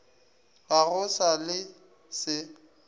ga go sa le se